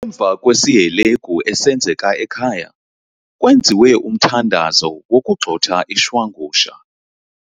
Emva kwesihelegu esenzeka ekhaya kwenziwe umthandazo wokugxotha ishwangusha.